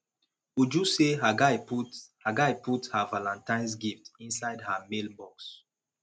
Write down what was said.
uju say her guy put her guy put her valantines gift inside her mail box